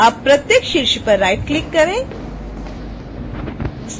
अब प्रत्येक शीर्ष पर राइटक्लिक करें